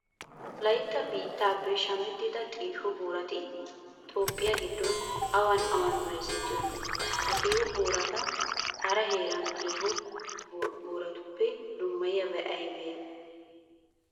Wolaytta biittappe shamettiya xiiho boorati toophphiya giddon awan awan bayzettiyonaa? Ha xiiho boorata hara heeraa xiiho booratuope dummayiyabati aybee aybee?